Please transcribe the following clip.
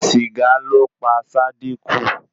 Sìgá ló pa Sádíkù.